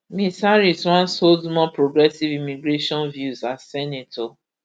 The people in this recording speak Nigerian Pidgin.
ms harris once hold more progressive immigration views as senator